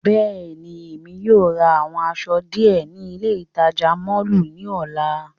Bẹ́ẹ̀ni, Emi yóò ra awọn aṣọ diẹ ni ile itaja mọllu ni ọla.